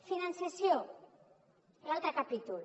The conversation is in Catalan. finançament l’altre capítol